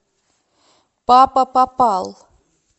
папа попал